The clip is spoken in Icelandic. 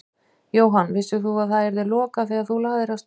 Jóhann: Vissir þú að það yrði lokað þegar þú lagðir af stað?